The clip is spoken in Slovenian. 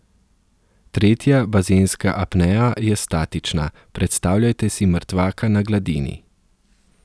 Tretja bazenska apnea je statična, predstavljajte si mrtvaka na gladini.